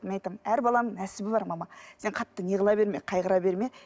мен айтамын әр баланың нәсібі бар мама сен қатты не қыла берме қайғыра берме